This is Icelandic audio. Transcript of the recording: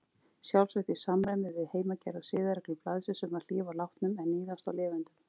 Sjálfsagt í samræmi við heimagerðar siðareglur blaðsins um að hlífa látnum en níðast á lifendum.